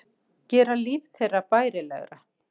Gera líf þeirra bærilegra.